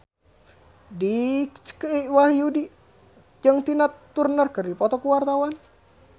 Dicky Wahyudi jeung Tina Turner keur dipoto ku wartawan